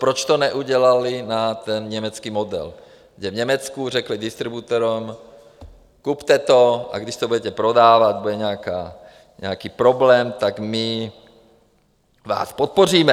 Proč to neudělali na ten německý model, kde v Německu řekli distributorům: kupte to, a když to budete prodávat, bude nějaký problém, tak my vás podpoříme.